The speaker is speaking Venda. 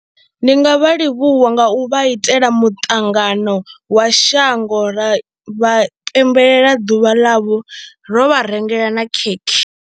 Ndi nga vha livhuwa nga u vha itela muṱangano wa shango ra vha pembelela ḓuvha ḽavho ro vha rengela na khekhe.